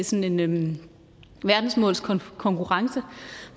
sådan en verdensmålskonkurrence